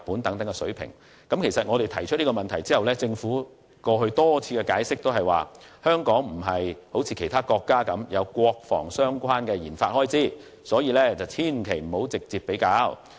對於我們提出的問題，政府過去多次的解釋都是香港不像其他國家般，有國防相關的研發開支，所以不應直接作比較。